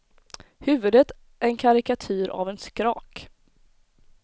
Huvudet en karikatyr av en skrak.